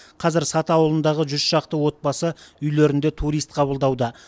қазір саты ауылындағы жүз шақты отбасы үйлерінде турист қабылдауда